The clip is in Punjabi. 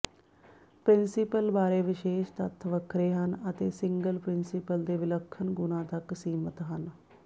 ਪ੍ਰਿੰਸੀਪਲ ਬਾਰੇ ਵਿਸ਼ੇਸ਼ ਤੱਥ ਵੱਖਰੇ ਹਨ ਅਤੇ ਸਿੰਗਲ ਪ੍ਰਿੰਸੀਪਲ ਦੇ ਵਿਲੱਖਣ ਗੁਣਾਂ ਤੱਕ ਸੀਮਿਤ ਹਨ